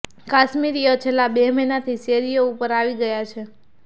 કાશ્મીરીઓ છેલ્લાં બે મહિનાથી શેરીઓ ઉપર આવી ગયા છે